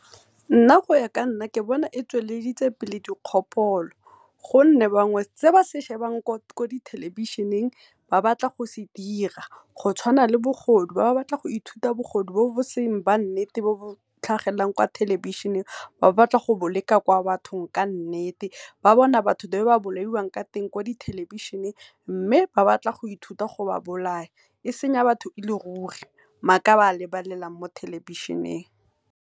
Nna go ya ka nna ke bona e tsweleditse pele dikgopolo gonne bangwe se ba se shebang mo thelebišheng ba batla go se dira. Go tshwana le bogodu ba batla go ithuta bogodu bo e seng ba nnete bo bo tlhagelelang mo thelebišheneng, ba batla go bo leka kwa bathong ka nnete. Ba bona batho the way ba bolaiwang ka teng kwa di thelebišheneng mme, ba batla go ithuta go ba bolaya e senya batho e le ruri maaka a ba lebelelang mo thelebišheneng.